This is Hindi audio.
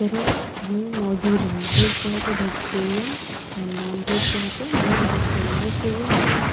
तो ये मजूद है। वेग कहे तो वेजीटेरियन एंड नॉन-वेज करे तो नॉन-वेजीटेरियन । Vegetarian means --